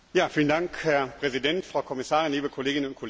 Herr Präsident, Frau Kommissarin, liebe Kolleginnen und Kollegen!